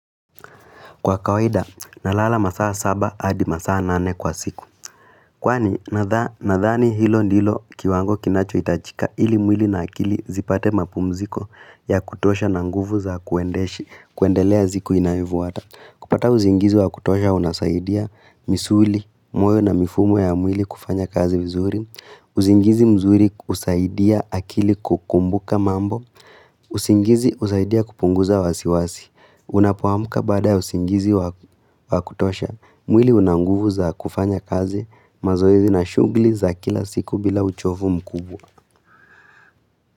Kwa kawaida, nalala masaa saba, adi masaa nane kwa siku. Kwani, nadhani hilo ndilo kiwango kinacho itajika ili mwili na akili zipate mapumziko ya kutosha na nguvu za kuendeshi, kuendelea siku inayofuata. Kupata uzingizi wa kutosha unasaidia, misuli, moyo na mifumo ya mwili kufanya kazi vizuri. Usingizi mzuri hisaidia akili kukumbuka mambo. Usingizi usaidia kupunguza wasiwasi. Unapoamka baada ya usingizi wa kutosha mwili una nguvu za kufanya kazi mazoezi na shughli za kila siku bila uchovu mkubwa.